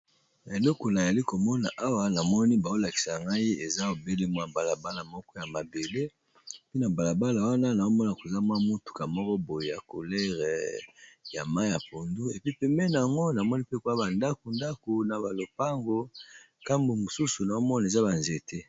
na elekolayali komona awa namoni baolakisa ngai eza obele mwa mbalabala moko ya mabele pe na mbalabala wana naomona koza mwa motuka moko boye ya kolere ya ma ya pundu epi pemene yango namoni pe koyaba ndako ndako na balopango nkambo mosusu naomona eza banzete